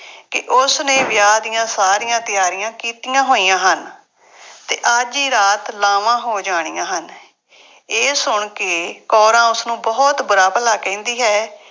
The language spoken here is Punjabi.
ਕਿ ਉਸਨੇ ਵਿਆਹ ਦੀਆਂ ਸਾਰੀਆਂ ਤਿਆਰੀਆਂ ਕੀਤੀਆ ਹੋਈਆ ਹਨ ਅਤੇ ਅੱਜ ਹੀ ਰਾਤ ਲਾਵਾਂ ਹੋ ਜਾਣੀਆਂ ਹਨ। ਇਹ ਸੁਣ ਕੇ ਕੌਰਾਂ ਉਸਨੂੰ ਬਹੁਤ ਬੁਰਾ ਭਲਾ ਕਹਿੰਦੀ ਹੈ